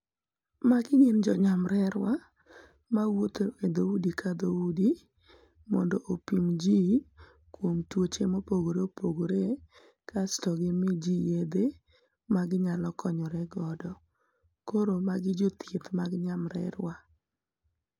Magi gin jo nyamrerewa mawuotho e dho udi ka dho udi mondo opim ji kuom tuoche mopogore opogore kasto gimi ji yedhe magi nyalo konyore godo koro magi jo thieth mag jo nyamrerwa.